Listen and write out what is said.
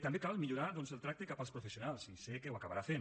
també cal millorar el tracte cap als professionals i sé que ho acabarà fent